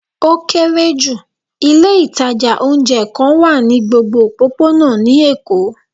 O kere ju, ilé itaja oúnjẹ kan wa ni gbógbó ọpopona ni Èko